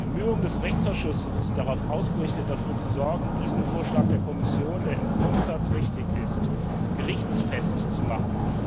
Die Bemühungen des Rechtsausschusses sind darauf ausgerichtet, dafür zu sorgen, diesen Vorschlag der Kommission, der im Grundsatz richtig ist, gerichtsfest zu machen.